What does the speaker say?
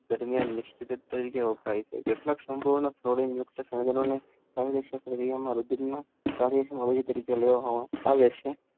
દામિયાં નિષ્પક તરીકે ઓળખાય છે કર્યો તરીકે લેવામાં આવે છે